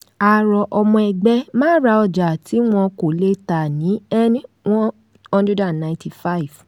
a rọ ọmọ ẹgbẹ́ má ra ọjà tí wọn kò le tà ní n one hundred and ninety five